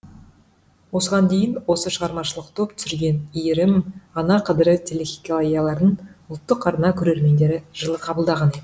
осыған дейін осы шығармашылық топ түсірген иірім ана қадірі телехикаяларын ұлттық арна көрермендері жылы қабылдаған еді